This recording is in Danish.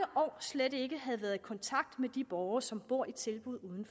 år slet ikke havde været i kontakt med de borgere som boede tilbud